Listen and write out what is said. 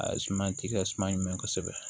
A suma ti kɛ suma ɲinɛ kɔ kosɛbɛ